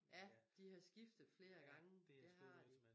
Ja de har skiftet flere gange det har de